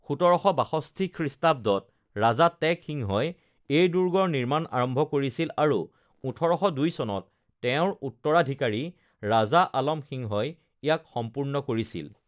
১৭৬২ খ্ৰীষ্টাব্দত ৰাজা তেগ সিংহই এই দুৰ্গৰ নিৰ্মাণ আৰম্ভ কৰিছিল আৰু ১৮০২ চনত তেওঁৰ উত্তৰাধিকাৰী ৰাজা আলম সিংহই ইয়াক সম্পূৰ্ণ কৰিছিল৷